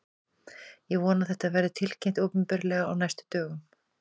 Ég vona að þetta verði tilkynnt opinberlega á næstu dögum.